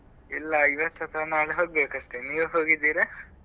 ಇಲ್ಲ ಇವತ್ತು ಅಥವಾ ನಾಳೆ ಹೋಗ್ಬೇಕು ಅಷ್ಟೇ ನೀವ್ ಹೋಗಿದ್ದೀರಾ?